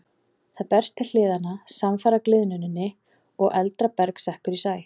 Það berst til hliðanna samfara gliðnuninni og eldra berg sekkur í sæ.